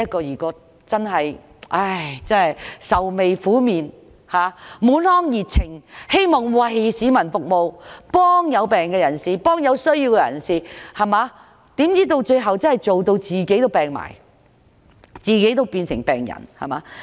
他們本來滿腔熱情，希望為市民服務，幫助病人或有需要的人，豈料最後卻勞碌得連自己也倒下，變成病人。